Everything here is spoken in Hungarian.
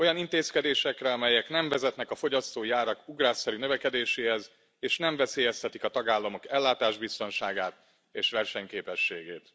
Olyan intézkedésekre, amelyek nem vezetnek a fogyasztói árak ugrásszerű növekedéséhez, és nem veszélyeztetik a tagállamok ellátásbiztonságát és versenyképességét.